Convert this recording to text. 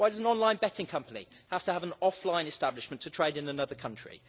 Why does an online betting company have to have an offline establishment to trade in another country?